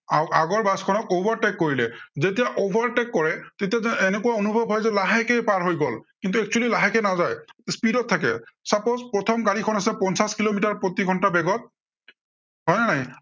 আহ আগৰ বাছখনক overtake কৰিলে, যেতিয়া overtake কৰে, তেতিয়া এনেকুৱা অনুভৱ হয় যে লাহেকেই পাৰ হৈ গল। কিন্তু actually লাহেকৈ পাৰ হৈ নাযায়। speed ত থাকে suppose প্ৰথম গাড়ীখন আছে পঞ্চাশ কিলোমিটাৰ প্ৰতি ঘন্টা বেগত হয় নে নাই?